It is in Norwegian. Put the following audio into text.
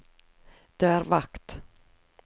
dørvakt